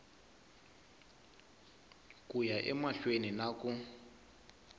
ku ya emahlweni na ku